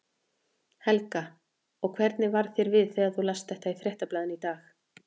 Helga: Og hvernig varð þér við þegar þú last þetta í Fréttablaðinu í dag?